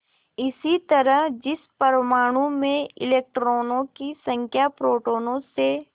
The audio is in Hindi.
इसी तरह जिस परमाणु में इलेक्ट्रॉनों की संख्या प्रोटोनों से